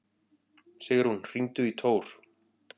Sigrún, hringdu í Tór.